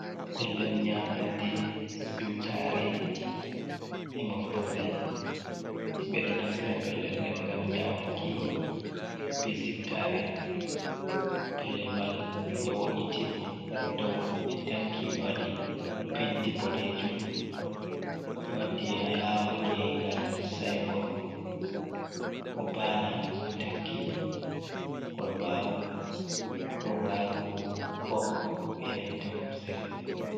Pellel nyamande, siwtare e moftorde. Himɓe ɗo naftira pellel nde ngam nyamuki be siutare, pellel man ɓe wo'itini her dou ɓe tanki ɓe waɗi penti boɗeejum, ɓe waɗi alama gengal sainbot ko baana ɓe takki kolbaru, robaru kok be nanta kusel.